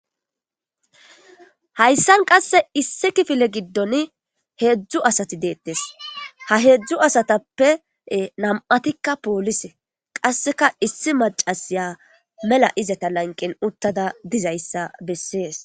Hayssan qasse issi kifile giddon heedzdzu asati deettes ha heedzdzu asatappe nam7atikka poolise qasseka issi macasiya mela izata lanqen uttada dizayssa bessees.